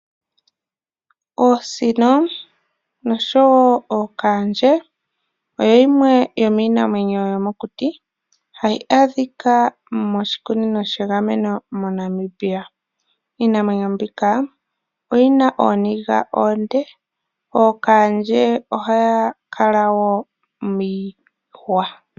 Oosino noshowo ookaandje oyo yimwe yomiinamwenyo yomokuti hayi adhika moshikunino shegameno moNamibia. Iinamwenyo mbika oyi na ooniga oonde. Ookaandje ohaya kala wo miihwa.